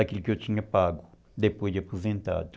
Aquilo que eu tinha pago depois de aposentado.